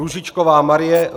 Růžičková Marie